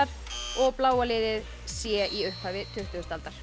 og bláa liðið c í upphafi tuttugustu aldar